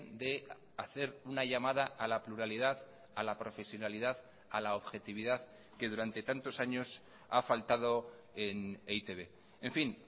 de hacer una llamada a la pluralidad a la profesionalidad a la objetividad que durante tantos años ha faltado en e i te be en fin